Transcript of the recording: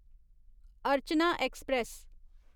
Archana express